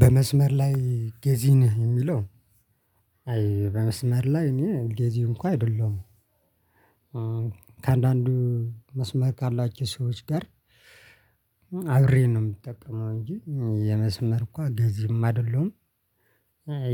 በመስመር ላይ ገዚ ነህ የሚለው? አይ በመስመር ላይ እኔ ገዚ እንኳ አይደለሁም። ከአንዳንዱ መስመር ካላቸው ሰዎች ጋር አብሬ ነው እምጠቀመው እንጂ የመስመር እንኳ ገዚም አይደለሁም።